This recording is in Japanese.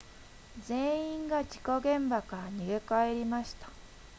全員が事故現場から逃げ帰りました